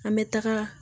An bɛ taga